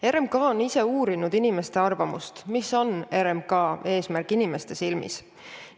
RMK on ise uurinud inimeste arvamust, mis on RMK eesmärk inimeste silmis.